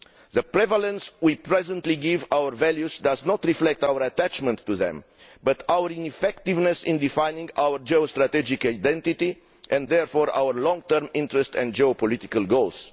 The prevalence we currently give to our values does not reflect our attachment to them but our ineffectiveness in defining our geostrategic identity and therefore our long term interest and geopolitical goals.